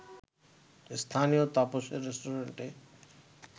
স্থানীয় তাপসের রেস্টুরেন্টে